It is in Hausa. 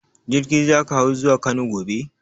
Jirgi za ka hau zuwa Kano gobe?